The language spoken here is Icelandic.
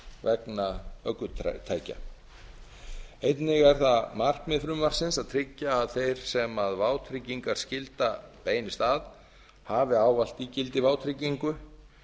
vegna ökutækja einnig er það markmið frumvarpsins að tryggja að þær sem vátryggingarskylda beinist að hafi ávallt ígildi vátryggingu